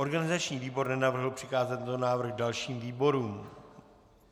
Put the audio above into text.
Organizační výbor nenavrhl přikázat tento návrh dalším výborům.